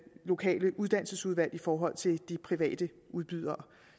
lokale uddannelsesudvalg i forhold til de private udbydere